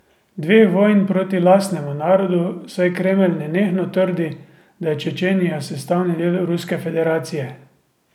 Dveh vojn proti lastnemu narodu, saj Kremelj nenehno trdi, da je Čečenija sestavni del Ruske federacije.